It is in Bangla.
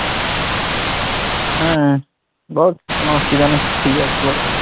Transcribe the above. হ্যাঁ বল কোনও অসুবিধা নেই free আছি বল।